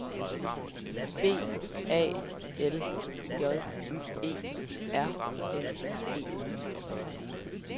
B A L J E R N E